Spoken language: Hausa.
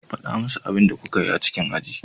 Faɗa musu abin da kuka yi a cikin aji.